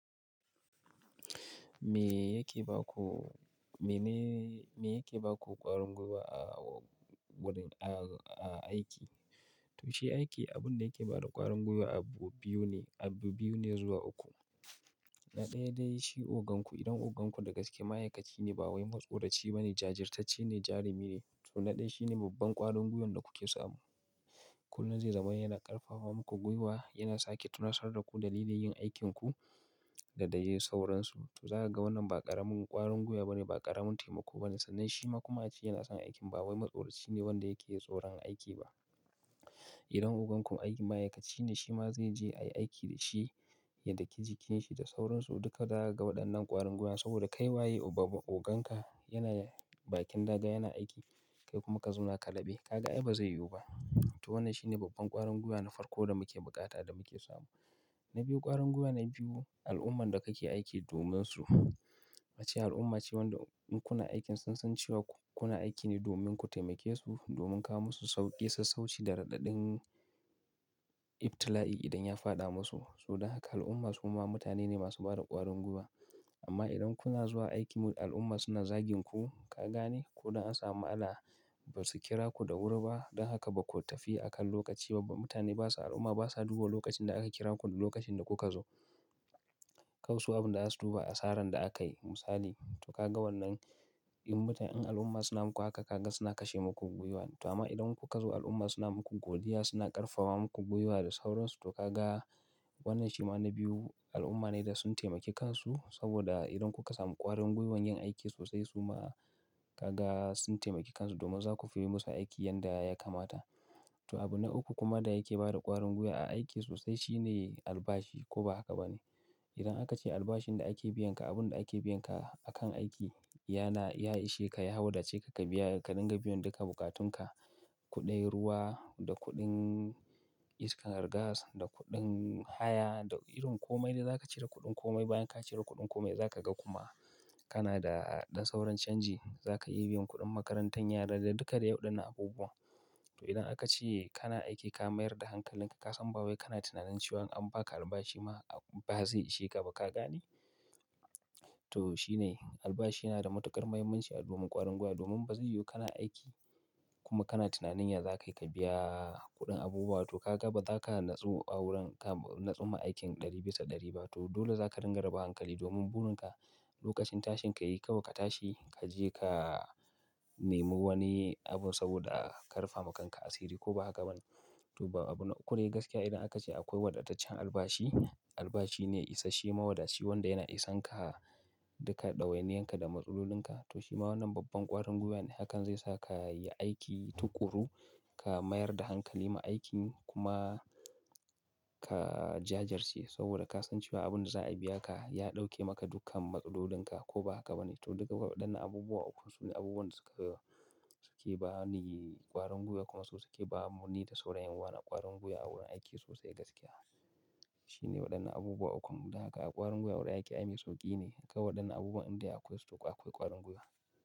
Me yake ba ku ƙwarin gwiwa a aiki? To shi aiki abun da yake ba da ƙwarin gwiwa abu biyu ne abu biyu ne zuwa uku. Na ɗaya dai shi ogan ku. Idan ogan ku daga cikin ma'aikaci ne, ba wai matsoraci ba ne, jajirtacce ne, jarumi ne. To na ɗaya shine babban ƙwarin gwiwan da kuke samu. Kullum zai zama yana ƙarfafa muku gwiwa, yana sake tunashar ku dalilin yin aikinku da dai sauransu. To za ka ga wannan ba ƙaramin ƙwarin gwiwa ba ne, ba ƙaramin taimako ba ne. Sannan shi ma kuma a ce yana son aikin. Ba wai matsoraci ne wanda yake tsoron aiki ba. Idan ogan ku aiki ma'aikaci ne, shi ma zai je ayi aiki da shi, yadda ke jikin shi da sauransu. Duka za a ga waɗannan ƙwarin gwiwa saboda kai waye oganka yana bakin daga, yana aiki. Kai kuma ka zauna ka dabe. Ka ga ai ba zai yiwu ba. To wannan shine babban ƙwarin gwiwa na farko da muke bukata da muke samu. Na biyu ƙwarin gwiwa na biyu, al'umman da kake aiki dominsu. Wace al'umma ce wanda in kuna aikin sun san cewa kuna aiki ne domin ku taimake su, domin ka musu sauƙi, sassauci da raɗaɗin ibtila'i idan ya fada musu. So don haka al'umma su ma mutane ne masu bada ƙwarin gwiwa. Amma idan kuna zuwa aiki al'umma suna zagin ku, ka gane? Ko dan an samu ana, ba su kira ku da wuri ba. Don haka ba ko tafi a kan lokaci ba. Mutane basa, al'umma basa duba lokacin da aka kira ku da lokacin da kuka zo. Kawai su abin da za su duba asaran da aka yi misali. To ka ga wannan in mutane, in al'umma suna muku haka ka ga suna kashe muku gwiwa. To amma idan kuka zo al'umma suna muku godiya, suna ƙarfafa muku gwiwa da sauransu. To ka ga wannan shi ma na biyu al'umma ne da sun taimaki kansu saboda idan kuka samu ƙwarin gwiwan yin aiki sosai su ma ka ga sun taimaki kansu domin za ku fi yi musu aiki yanda ya kamata. To abu na uku kuma da yake bada ƙwarin gwiwa a aiki sosai shine albashi ko ba haka ba ne. Idan aka ce albashin da ake biyan ka abun da ake biyan ka akan aiki yana ya ishe ka, ya haudace ka, ka biya ka dinga biyan duka bukatunka, kuɗin ruwa da kuɗin iskar gas da kuɗin haya da irin komai da za ka cire kuɗin komai bayan ka cire kuɗin komai za ka ga kuma kana da don sauran canji za ka iya yi biyan kuɗin makarantan yara da duka da yauɗin abubuwa. To idan aka ce kana aiki ka mayar da hankalinka ka san ba wai kana tunanin cewa an ba ka albashi ma ba zai ishe ka ba ka gane? To shi ne albashi yana da matuƙar muhimmanci a domin ƙwarin gwiwa domin ba zai yiwu kana aiki kuma kana tunanin ya za ka yi ka biya kuɗin abubuwa. To ka ga ba za ka natsu a wurin ka natsu ma aikin ɗari bisa ɗari ba. To dole za ka dinga raba hankali domin burinka lokacin tashin ka yi kawai ka tashi ka je ka nemo wani abun saboda ƙarfafa kanka asiri ko ba haka ba ne. To ba abu na uku dai gaskiya idan aka ce akwai wadataccen albashi, albashi ne isashe mawadaci wanda yana isanka duka ɗawainiyanka da matsalolinka. To shi ma wannan babban ƙwarin gwiwa ne hakan zai sa ka yi aiki tukuru, ka mayar da hankali ma aikin kuma ka jajirce saboda ka san cewa abun da za a biya ka ya ɗauke maka dukkan matsalolinka ko ba haka ba ne. To duka waɗannan abubuwa uku su ne abubuwan da suke ba ni ƙwarin gwiwa kuma su suke ba mu ni da saurayin yanuwa ƙwarin gwiwa a wurin aiki sosai gaskiya. Shi ne waɗannan abubuwa ukun. Don haka ƙwarin gwiwa a wurin aiki ai mai sauƙi ne. Kawai waɗannan abubuwan inda akwai su to akwai ƙwarin gwiwa.